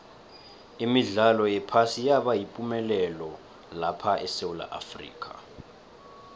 imidlalo yephasi yaba yipumelelo lapha esewula afrika